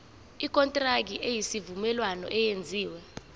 ikontraki yesivumelwano eyenziwe